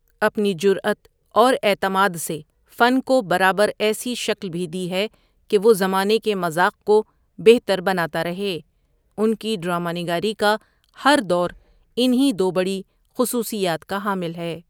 اپنی جرأت اور اعتماد سے فن کو برابر ایسی شکل بھی دی ہے کہ وہ زمانے کے مذاق کو بہتر بناتا رہے اُن کی ڈراما نگاری کا ہر دور اِنہیں دو بڑی خصوصیات کا حامل ہے۔